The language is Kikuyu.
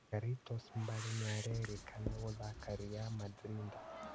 "Garitos Mbale nĩarakena gũthaka Ri Mandrinda.